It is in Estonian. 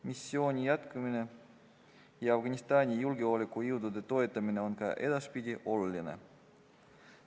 Missiooni jätkumine ja Afganistani julgeolekujõudude toetamine on ka edaspidi oluline.